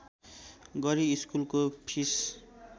गरी स्कुलको फिस